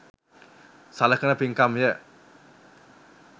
සලකන පින්කම්ය.